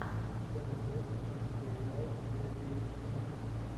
что найдется из где играл джей кей симмонс